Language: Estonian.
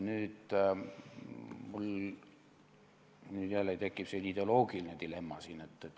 Nüüd tekib mul jälle siin see ideoloogiline dilemma.